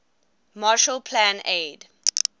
marshall plan aid